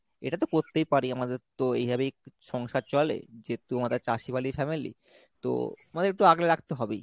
এটা তো করতেই পারি আমাদের তো এইভাবেই সংসার চলে যেহেতু আমরা চাসিয়ালী family তো আমাদের একটু আগলে রাখতে হবেই।